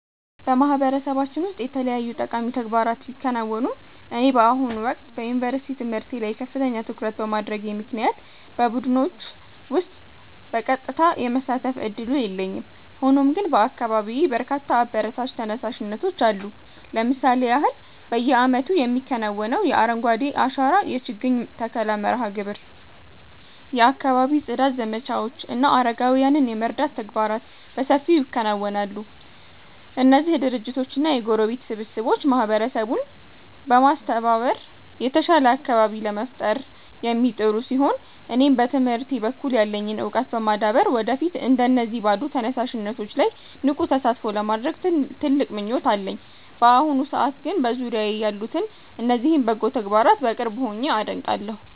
በማህበረሰባችን ውስጥ የተለያዩ ጠቃሚ ተግባራት ቢከናወኑም፣ እኔ በአሁኑ ወቅት በዩኒቨርሲቲ ትምህርቴ ላይ ከፍተኛ ትኩረት በማድረጌ ምክንያት በቡድኖች ውስጥ በቀጥታ የመሳተፍ ዕድሉ የለኝም። ሆኖም ግን በአካባቢዬ በርካታ አበረታች ተነሳሽነቶች አሉ። ለምሳሌ ያህል፣ በየዓመቱ የሚከናወነው የአረንጓዴ አሻራ የችግኝ ተከላ መርሃ ግብር፣ የአካባቢ ጽዳት ዘመቻዎች እና አረጋውያንን የመርዳት ተግባራት በሰፊው ይከናወናሉ። እነዚህ ድርጅቶችና የጎረቤት ስብስቦች ማህበረሰቡን በማስተባበር የተሻለ አካባቢ ለመፍጠር የሚጥሩ ሲሆን፣ እኔም በትምህርቴ በኩል ያለኝን ዕውቀት በማዳበር ወደፊት እንደነዚህ ባሉ ተነሳሽነቶች ላይ ንቁ ተሳትፎ ለማድረግ ትልቅ ምኞት አለኝ። በአሁኑ ሰዓት ግን በዙሪያዬ ያሉትን እነዚህን በጎ ተግባራት በቅርብ ሆኜ አደንቃለሁ።